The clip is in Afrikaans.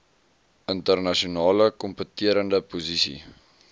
internasionale kompeterende posisie